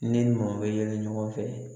Ne ni maaw bɛ yɛlɛ ɲɔgɔn fɛ